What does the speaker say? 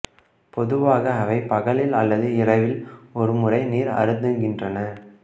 பொதுவாக அவை பகலில் அல்லது இரவில் ஒரு முறை நீர் அருந்துகின்றன